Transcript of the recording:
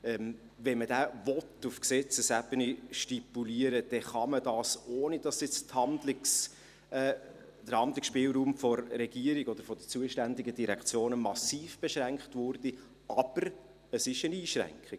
Wenn man diesen auf Gesetzesebene stipulieren will, dann kann man dies, ohne dass der Handlungsspielraum der Regierung oder der zuständigen Direktionen massiv beschränkt wird, aber es ist eine Einschränkung.